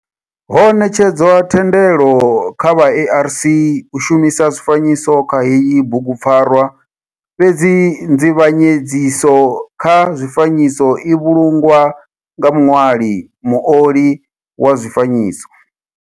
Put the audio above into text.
Ho netshedzwa thendelo kha vha ARC u shumisa zwifanyiso kha heyi bugu pfarwa fhedzi nzivhanyedziso kha zwifanyiso i vhulungwa nga muṋwali, muoli wa zwifanyiso.